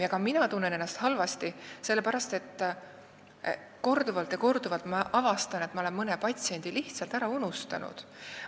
Ja ka mina tunnen ennast halvasti sellepärast, et ma avastan korduvalt, kuidas ma olen mõne patsiendi lihtsalt ära unustanud.